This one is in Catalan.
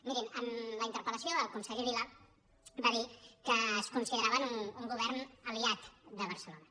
mirin en la interpel·lació el conseller vila va dir que es consideraven un govern aliat de barcelona